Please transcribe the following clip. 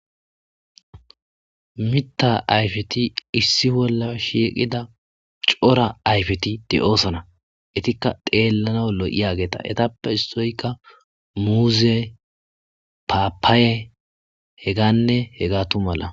Mita ayfeti issi bolla shiiqida cora ayfeti de7oosana etikka deellana lo7iyageeta etappe issoyka muuze paapaaye he ganne he gaatu mala.